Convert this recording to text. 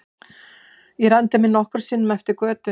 Ég renndi mér nokkrum sinnum eftir götunni.